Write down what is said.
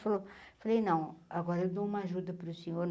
Falou falei, não, agora eu dou uma ajuda para o senhor.